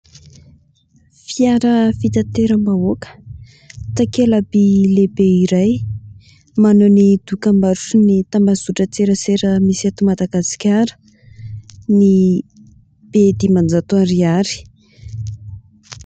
Fiara fitateram-bahoaka, takela-by lehibe iray maneho ny dokambarotry ny tambajotran-tserasera misy eto Madagasikara, ny Be dimanjato ariary.